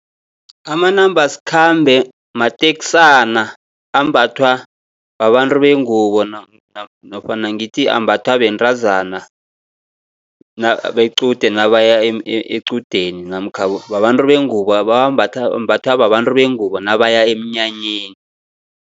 Amanambasikhambe matekisana ambathwa babantu bengubo nofana ngithi ambatha bentazana bequde nabaya equdeni, namkha babantu bengubo, ambathwa babantu bengubo nabaya emnyanyeni.